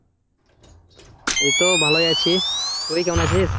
এই তো ভালোই আছি। তুই কেমন আছিস?